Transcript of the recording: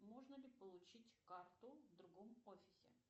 можно ли получить карту в другом офисе